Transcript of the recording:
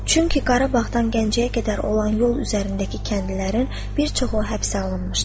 Çünki Qarabağdan Gəncəyə qədər olan yol üzərindəki kəndlərin bir çoxu həbsə alınmışdı.